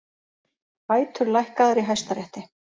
Bætur lækkaðar í Hæstarétti